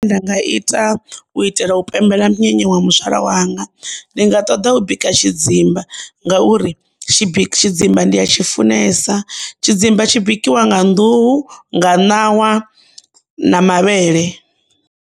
Zwine nda nga ita u itela u pembela munyanya wa muzwala wanga ndi nga ṱoḓa u bika tshidzimba ngauri tshidzimba ndi tshi funesa, tshidzimba tshi bikiwa nga nḓuhu, nga ṋawa, na mavhele.